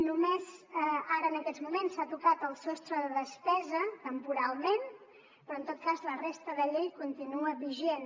només ara en aquests moments s’ha tocat el sostre de despesa temporalment però en tot cas la resta de llei continua vigent